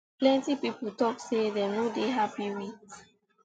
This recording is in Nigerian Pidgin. plenty pipo tok say dem no happy wit